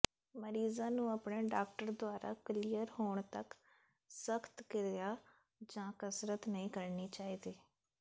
ਮਰੀਜ਼ਾਂ ਨੂੰ ਆਪਣੇ ਡਾਕਟਰ ਦੁਆਰਾ ਕਲੀਅਰ ਹੋਣ ਤੱਕ ਸਖਤ ਕਿਰਿਆ ਜਾਂ ਕਸਰਤ ਨਹੀਂ ਕਰਨੀ ਚਾਹੀਦੀ